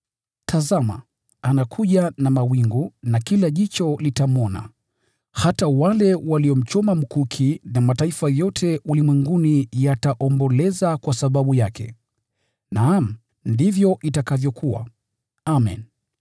Tazama! Anakuja na mawingu, na kila jicho litamwona, hata wale waliomchoma; na makabila yote duniani yataomboleza kwa sababu yake. Naam, ndivyo itakavyokuwa! Amen.